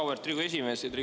Auväärt Riigikogu esimees!